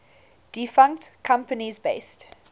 defunct companies based